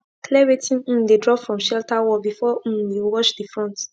clear wetin um de drop from shelter wall before um you wash de front